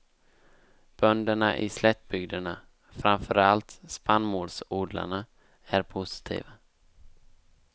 Bönderna i slättbygderna, framför allt spannmålsodlarna, är positiva.